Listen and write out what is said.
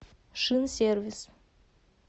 шинсервис